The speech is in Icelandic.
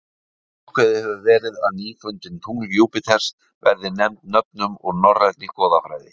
Ákveðið hefur verið að nýfundin tungl Júpíters verði nefnd nöfnum úr norrænni goðafræði.